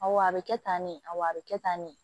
Awɔ a bɛ kɛ tan ne a bɛ kɛ tan ne